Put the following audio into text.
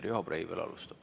Riho Breivel alustab.